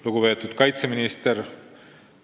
Lugupeetud kaitseminister!